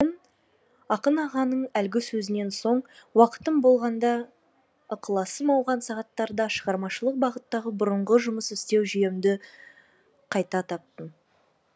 ақын ағаның әлгі сөзінен соң уақытым болғанда ықыласым ауған сағаттарда шығармашылық бағыттағы бұрынғы жұмыс істеу жүйемді қайта таптым